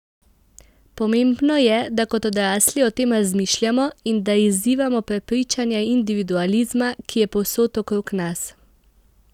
Pomembno je, da kot odrasli o tem razmišljamo in da izzivamo prepričanja individualizma, ki je povsod okrog nas.